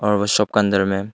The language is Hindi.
और वो शॉप का अंदर मे--